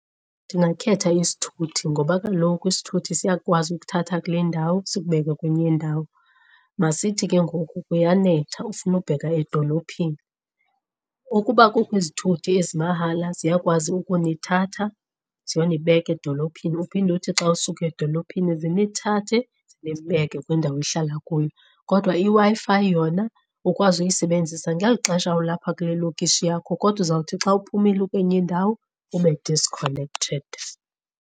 Ndingakhetha isithuthi ngoba kaloku isithuthi siyakwazi ukuthatha kule ndawo sikubeke kwenye indawo. Masithi ke ngoku kuyanetha ufuna ubheka edolophini, ukuba kukho izithuthi ezimahala ziyakwazi ukunithatha ziyonibeka edolophini uphinde uthi xa usuka edolophini zinithathe zinibeke kwindawo enihlala kuyo. Kodwa i-Wi-Fi yona ukwazi uyisebenzisa ngeli xesha olapha kule lokishi yakho kodwa uzawuthi xa uphumile ukwenye indawo ube disconnected.